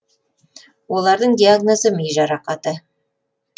олардың диагнозы ми жарақаты